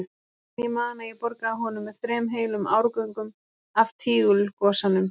En ég man að ég borgaði honum með þrem heilum árgöngum af Tígulgosanum.